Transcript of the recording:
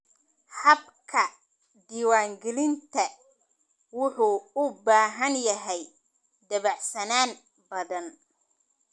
Habka diiwaangelinta wuxuu u baahan yahay dabacsanaan badan.